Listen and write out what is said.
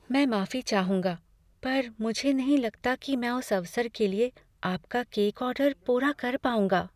मैं माफी चाहूंगा, पर मुझे नहीं लगता कि मैं उस अवसर के लिए आपका केक ऑर्डर पूरा कर पाऊंगा।